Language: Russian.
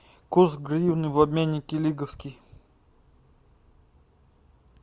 курс гривны в обменнике лиговский